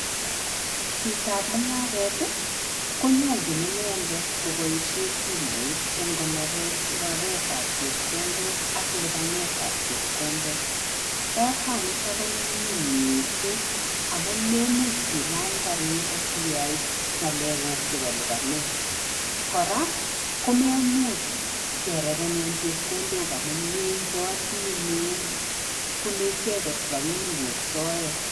Chitoab mungaret konyalchin inendet koposihen simoit eng konoretab chepkondok ak lipanetab chepkondok. Oranito konyunyum mising amun memuch ilany kariit asiyai ngalekuk chebo lipanet, kora komemuch kerepenen chepkondok amune meipoti eng keut. Bunei icheket rapinikuk soet.